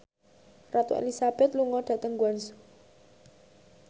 Ratu Elizabeth lunga dhateng Guangzhou